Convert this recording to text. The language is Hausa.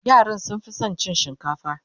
yaran sun Fi San cin shinkafa